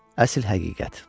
Əsl həqiqət.